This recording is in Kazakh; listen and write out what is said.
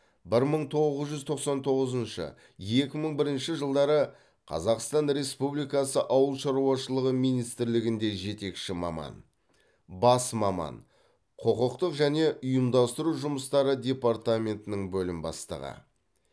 бір мың тоғыз жүз тоқсан тоғызыншы екі мың бірінші жылдары қазақстан республикасы ауыл шаруашылығы министрлігінде жетекші маман бас маман құқықтық және ұйымдастыру жұмыстары департаментінің бөлім бастығы